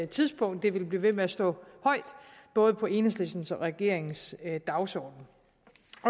tidspunkt det vil blive ved med at stå højt både på enhedslistens og regeringens dagsorden